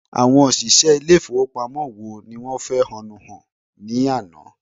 Àwọn òṣìṣẹ́ ilé ìfowópamọ́ wo ni wọ́n fẹ̀hónú hàn ní àná?